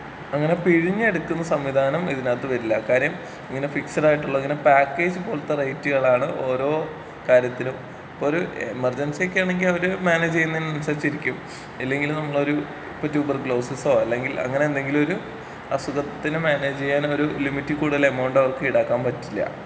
അങ്ങനെ പിഴിഞ്ഞ് എടുക്കുന്ന സംവിധാനം ഇതിനകത്ത് വരില്ല കാര്യം ഇങ്ങനെ ഫിക്സഡ് ആയിട്ടുള്ളതിന് പാക്കേജ് പോലത്തെ റേറ്റുകളാണ് ഓരോ കാര്യത്തിലും ഇപ്പൊര് എമർജൻസിയൊക്കെയാണെങ്കി അവര് മാനേജ് ചെയ്യുന്നതിന് അനുസരിച്ചിരിക്കും. ഇല്ലെങ്കില് നമ്മളൊരു ഇപ്പൊ ട്യൂബർ കുലോസിസോ അല്ലെങ്കിൽ അങ്ങനെ എന്തെങ്കിലും ഒരു അസുഖത്തിനെ മാനേജ് ചെയ്യാനൊരു ലിമിറ്റിൽ കൂടുതൽ എമൗണ്ട് അവർക്ക് ഈടാക്കാൻ പറ്റില്ല.